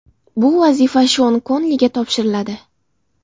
Bu vazifa Shon Konliga topshiriladi.